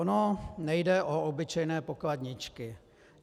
Ono nejde o obyčejné pokladničky.